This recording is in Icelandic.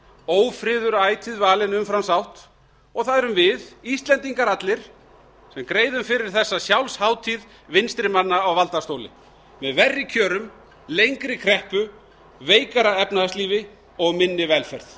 ófriður ætíð valinn umfram sátt og það erum við íslendingar allir sem greiðum fyrir þessa sjálfshátíð vinstri manna á valdastóli með verri kjörum lengri kreppu veikara efnahagslífi og minni velferð